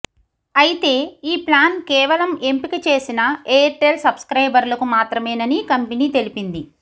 అయితే ఈ ప్లాన్ కేవలం ఎంపిక చేసిన ఎయిర్టెల్ సబ్స్క్రైబర్లకు మాత్రమేనని కంపెనీ తెలిపింది